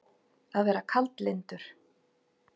Að vera kaldlyndur